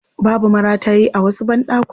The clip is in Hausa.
Babu maratayi a wasu banɗakunan.